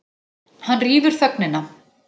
Hann rýfur þögnina.